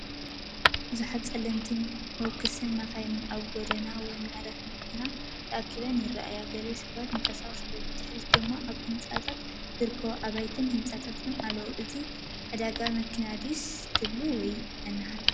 ብዙሓት ጸለምቲ ሞውክስ መካይን ኣብ ጎደና ወይ መዕረፊ መካይን ተኣኪበን ይርኣያ። ገለ ሰባት ይንቀሳቐሱ ኣለዉ፡ ብድሕሪት ድማ ኣብ ህንጸት ዝርከቡ ኣባይትን ህንጻታትን ኣለዉ። እዚ ዕዳጋ መኪና ድዩ ትብሉ ወይስ መናሃርያ?